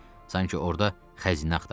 Sanki orda xəzinə axtarırdı.